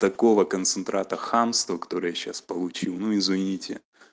такого концентрата хамство который я сейчас получил ну извините